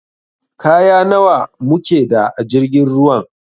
Kaya nawa mu keda a jirgin ruwan?